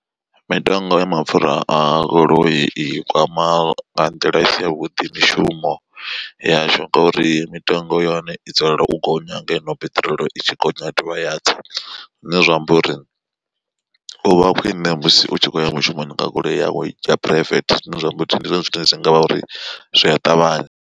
Mitengo ya mapfura a goloi i kwama nga nḓila i si yavhuḓi mishumo yashu ngori mitengo ya hone i dzulela u gonya ngeno piṱirolo i tshi gonya ya dovha ya tsa. Zwine zwa amba uri uvha khwine musi u tshi khoya mushumoni nga goloi yawe ya phuraivethe zwine zwa amba uri ndi zwone zwine zwi ngavha uri zwi a ṱavhanya.